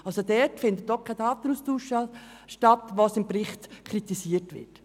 Dort findet auch kein Datenaustausch statt, was im Bericht kritisiert wird.